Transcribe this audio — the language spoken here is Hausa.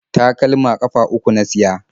Takalma ƙafa uku na siya.